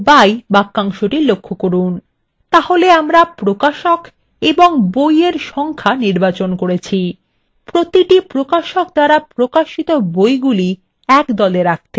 তাহলে আমরা প্রকাশক এবং বইএর সংখ্যা নির্বাচন করেছি প্রতিটি প্রকাশক দ্বারা প্রকাশিত বইগুলি একদলে রাখতে group by বাক্যাংশ ব্যবহার করছি